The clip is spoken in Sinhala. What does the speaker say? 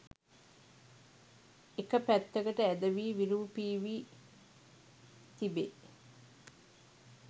එක පැත්තකට ඇදවී විරූපී වී තිබෙ.